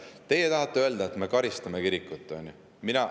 Teie tahate öelda, et me karistame kirikut, on ju.